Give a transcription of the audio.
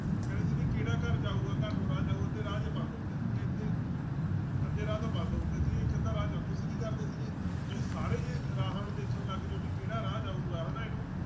ਉਹ ਕਹਿੰਦੇ ਸੀ ਵੀ ਕਿਹੜਾ ਘਰ ਜਾਊਗਾ ਘਰ ਨੂੰ ਰਾਹ ਜਾਊ ਅੱਧੇ ਰਾਹ ਜਿਹੇ ਬੰਦ ਹੁੰਦੇ ਸੀਗੇ ਇੱਥੇ ਅੱਧੇ ਰਾਹ ਤਾਂ ਬੰਦ ਹੁੰਦੇ ਸੀਗੇ ਇੱਕ ਅੱਧਾ ਰਾਹ ਜਾ~ ਤੁਸੀਂ ਕੀ ਕਰਦੇ ਸੀਗੇ ਤੁਸੀਂ ਸਾਰੇ ਜੇ ਰਾਹਾਂ ਨੂੰ ਦੇਖਣ ਲੱਗ ਜਾਓ ਵੀ ਕਿਹੜਾ ਰਾਹ ਜਾਊਗਾ ਹਨਾ ਇਹਨੂੰ